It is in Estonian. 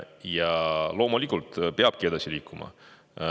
Ja loomulikult peabki edasi liikuma.